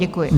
Děkuji.